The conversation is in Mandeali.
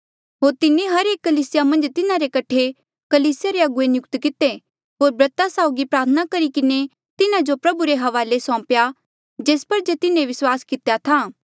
होर तिन्हें हर एक कलीसिया मन्झ तिन्हारे कठे कलीसिया रे अगुवे नियुक्त किते होर ब्रता साउगी प्रार्थना करी किन्हें तिन्हा जो प्रभु रे हवाले सौम्पेया जेस पर जे तिन्हें विस्वास कितेया था